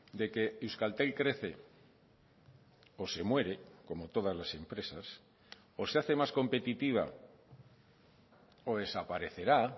de que euskaltel crece o se muere como todas las empresas o se hace más competitiva o desaparecerá